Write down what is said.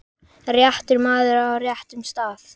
réttur maður á réttum stað.